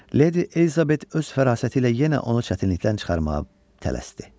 Leydi Elizabet öz fərasəti ilə yenə onu çətinlikdən çıxarmağa tələsdi.